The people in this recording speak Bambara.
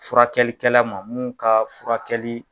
Furakɛlikɛla ma minnu ka furakɛli